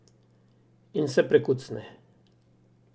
In se prekucne.